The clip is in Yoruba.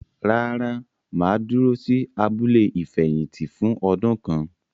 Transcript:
Rárá, mà á dúró sí “abúlé ìfẹ̀yìntì” fún ọdún kan.